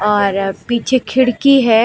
और अब पीछे खिड़की है।